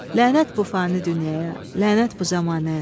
Lənət bu fani dünyaya, lənət bu zəmanəyə.